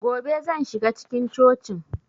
Gobe zan shiga cikin cocin